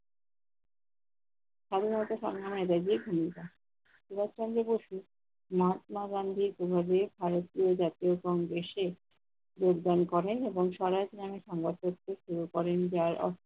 খালি হয়ত ভুমিকা। সুভাসচন্দ্র বসু মাহাত্মা গান্ধির প্রভাবে ভারতীয় জাতীয় কংগ্রেসে যোগদান করেন এবং সরাশ নামে সংবাদপত্র শুরু করেন যার অর্থ-